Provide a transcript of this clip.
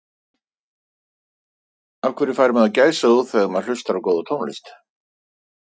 Af hverju fær maður gæsahúð þegar maður hlustar á góða tónlist?